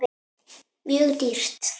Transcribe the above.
Mjög dýrt.